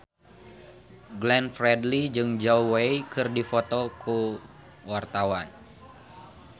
Glenn Fredly jeung Zhao Wei keur dipoto ku wartawan